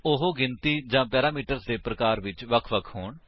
ਉਹ ਗਿਣਤੀ ਜਾਂ ਪੈਰਾਮੀਟਰਸ ਦੇ ਪ੍ਰਕਾਰ ਵਿੱਚ ਵਖ ਵਖ ਹੋਣ